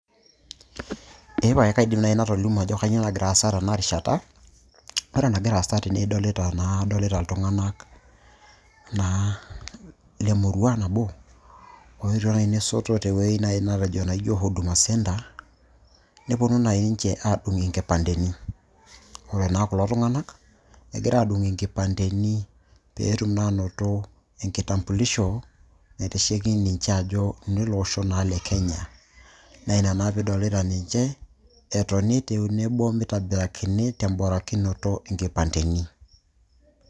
Epae kaidim naaji natolimuo ajo kanyioo nagira aasa tena rishata ore enagira aasa tene idoilta naa ,adolita iltung'anak aa ilemurua nabo leyetuo naaji nesoto tewueji naijio huduma center neponu naaji ninche aadung inkipandeni, ore naa kulo tung'anak egira aadung inkipanteni peetum naa aanoto enkitambulisho naitasheki ninche ajo inele oshi le kenya naa ina naa piidolita ninche etoni tenebo mitobirakini temborakinoto inkipanteni.